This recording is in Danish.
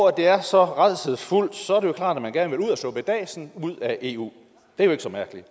at det er så rædselsfuldt så er det jo klart at man gerne vil ud af suppedasen ud af eu det er jo ikke så mærkeligt